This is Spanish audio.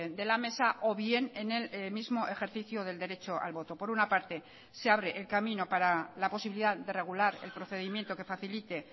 de la mesa o bien en el mismo ejercicio del derecho al voto por una parte se abre el camino para la posibilidad de regular el procedimiento que facilite